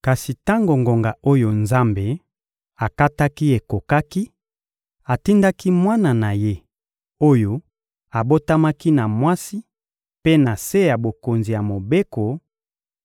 Kasi tango ngonga oyo Nzambe akataki ekokaki, atindaki Mwana na Ye, oyo abotamaki na mwasi mpe na se ya bokonzi ya Mobeko,